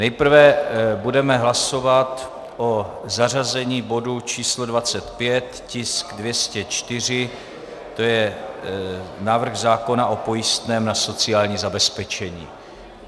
Nejprve budeme hlasovat o zařazení bodu číslo 25, tisk 204, to je návrh zákona o pojistném na sociální zabezpečení.